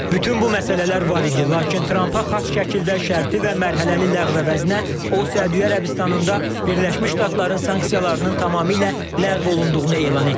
Bütün bu məsələlər var idi, lakin Trampa xas şəkildə şərti və mərhələli ləğv əvəzinə, o Səudiyyə Ərəbistanında Birləşmiş Ştatların sanksiyalarının tamamilə ləğv olunduğunu elan etdi.